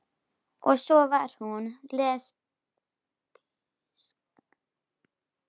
Og svo var hún lesbísk líka.